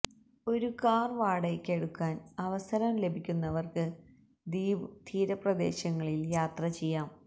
ഒരു കാർ വാടകയ്ക്കെടുക്കാൻ അവസരം ലഭിക്കുന്നവർക്ക് ദ്വീപ് തീരപ്രദേശങ്ങളിൽ യാത്ര ചെയ്യാം